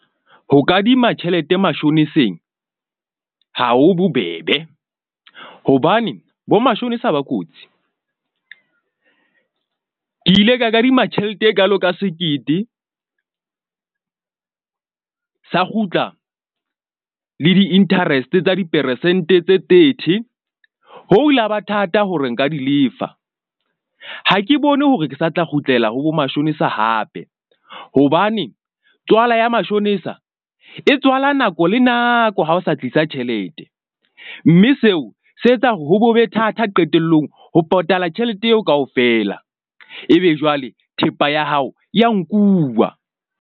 Ho kadima tjhelete mashoniseng, ha ho bobebe, hobane bo mashonisa ba kotsi. Ke ile ka kadima tjhelete e kaalo ka sekete sa kgutla le di-interest tsa diperesente tse thirty. Ho ile ha ba thata hore nka di lefa. Ha ke bone hore ke sa tla kgutlela ho bo mashonisa hape. Hobane tswala ya mashonisa e tswala nako le nako. Ha o sa tlisa tjhelete. Mme seo se etsa hore ho bo be thata qetellong, ho patala tjhelete eo kaofela, ebe jwale thepa ya hao ya nkuwa.